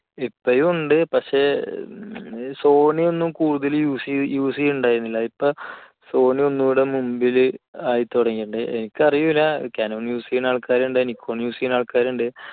ഇപ്പോഴും ഉണ്ട് പക്ഷേ Sony ഒന്നും കൂടുതൽ use~use ചെയ്യുന്നുണ്ടായിരുന്നില്ല ഇപ്പോൾ sony ഒന്നുകൂടെ മുൻപിൽ ആയി തുടങ്ങിയിട്ടുണ്ട്. എനിക്കറിയില്ല canon use ചെയ്യുന്ന ആൾക്കാർ nippon use ചെയ്യുന്ന ആൾക്കാർ ഉണ്ട്